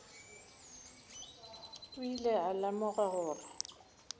o ile a lemoga gore